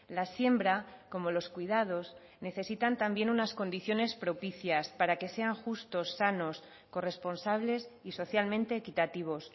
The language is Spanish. la siembra como los cuidados necesitan también unas condiciones propicias para que sean justos sanos corresponsables y socialmente equitativos